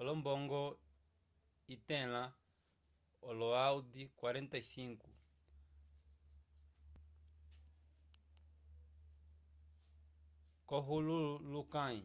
olombongo itlẽla olo aud$45 k’olohulukãyi